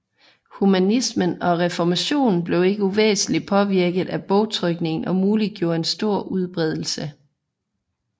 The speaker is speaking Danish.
Humanismen og reformationen blev ikke uvæsentligt påvirket af bogtrykningen og muliggjorde en stor udbredelse